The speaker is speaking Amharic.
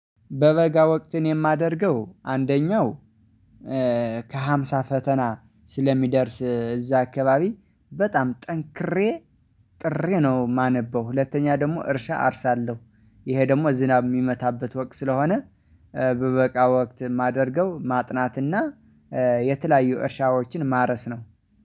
በበጋ ወቅት የማደርገው አንደኛው ከሃምሳ ፈተና ስለሚደርስ እዛ አካባቢ በጣም ጠንክሬ ጥሪ ነው የማነበው። ሁለተኛ ደግሞ እርሻ አርሳለሁ። ይሄ ደግሞ ዝናብ የሚመታበት ወቅት ስለሆነ በበቃ ወቅት የማደርገው ማጥናትና የተለያዩ እርሻዎችን ማረስ ነው